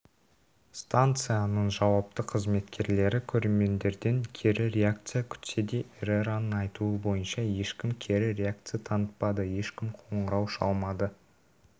станцияның жауапты қызметкерлері көрермендерден кері реакция күтсе де эррераның айтуы бойынша ешкім кері реакция танытпады ешкім қоңырау шалмады